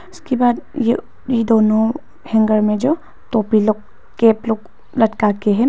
उसके बाद यह यह दोनों हैंगर में जो तोपी लोग कैप लोग लटका के हैं।